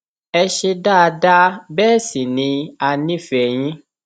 ẹ ṣe dáadáa bẹẹ sì ni a nífẹẹ yín